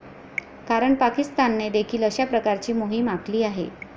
कारण पाकिस्तानने देखील अशा प्रकारची मोहिम आखली आहे.